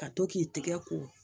Ka to k'i tɛgɛ ko